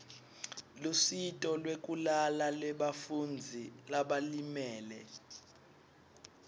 lusito lwekulala lebafundzi labalimele